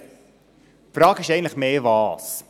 Die Frage ist eher, was.